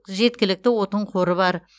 жеткілікті отын қоры бар